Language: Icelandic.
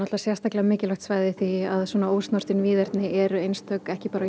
sérstaklega mikilvægt svæði því að svona ósnortin víðerni eru einstök ekki bara á